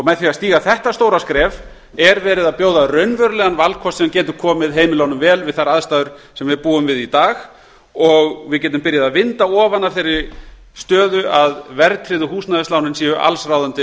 með því að stíga þetta stóra skref er verið að bjóða raunverulegan valkost sem getur komið heimilunum vel við þær aðstæður sem við búum við í dag og við getum byrjað að vinda ofan af þeirri stöðu að verðtryggðu húsnæðislánin séu allsráðandi á